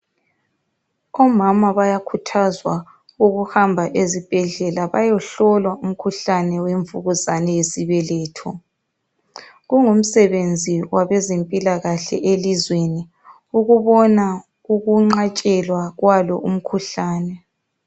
Omama bayakhuthazwa ukuhamba ezibhedlela beyehlolwa umkhuhlane wemvukuzane yesibeletho. Kungusebenzi wabezempikahle elizweni ukubona ukunqatshelwa kwalo mkhuhlane.